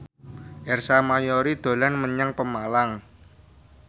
Ersa Mayori dolan menyang Pemalang